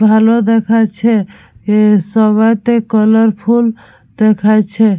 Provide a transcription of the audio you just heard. ভালো দেখাচ্ছে এ সবেতে কালারফুল দেখাইছে।